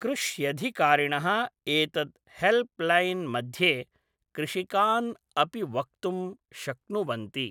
कृष्यधिकारिेणः एतद् हेल्प् लैन्मध्ये कृषिकान् अपि वक्तुं शक्नुवन्ति